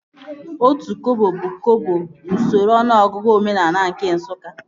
Otu kọbọ bụ kọpọ n'usoro ọnụọgụgụ omenaala nke Nsụka